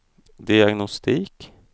diagnostik